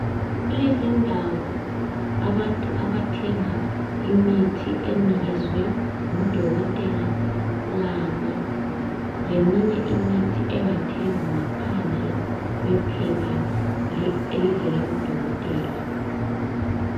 Kulezindawo abantu abathenga khona imithi enikezwe ngudokotela kanye leminye imithi engathengwa ngaphandle kwephepha elivela kudokotela.